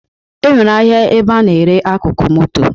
E nwere ahịa ebe a na-ere akụkụ moto